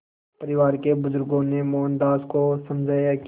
परिवार के बुज़ुर्गों ने मोहनदास को समझाया कि